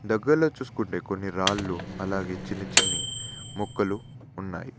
దగ్గర్లో చూసుకుంటే కొన్ని రాళ్ళు అలాగే చిన్ని చిన్ని మొక్కలు ఉన్నాయి.